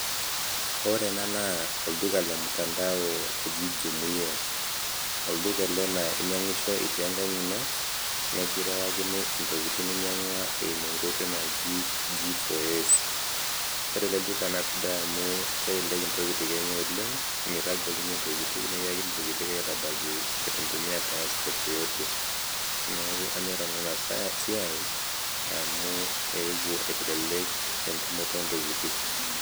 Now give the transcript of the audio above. ore ena naa olduka le mtandao jumuia, olduka ele naa inyang'isho iti enkang' ino, nekirewakini ntokitin ninyang'ua eiumu enkoitoi naji G4S. Ore ele duka naa sidai amu kelelek ntokitin enye oleng', mitagol nye ntokitin nekiyakini ntokitin aitabiki itu intumia transport yeyote. Neeku anyor nanu ena siai amu eewou aitelelek entumoto o ntokitin.